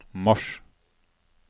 mars